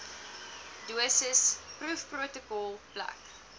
dosis proefprotokol plek